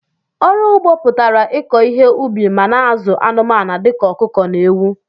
ọrụ ụgbọ pụtara ịkọ ihe ubi ma na- azụ anumanu dika ọkụkọ na ewu.